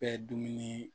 Bɛɛ dumuni